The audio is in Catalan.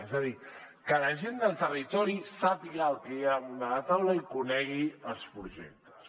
és a dir que la gent del territori sàpiga què hi ha damunt de la taula i conegui els projectes